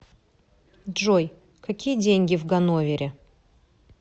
джой какие деньги в ганновере